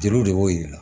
Jeliw de b'o yira